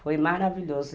Foi maravilhoso.